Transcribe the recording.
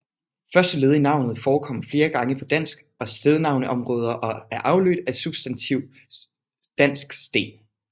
Første led i navnet forekommer flere gange på dansk stednavneområde og er afledt af substantiv dansk sten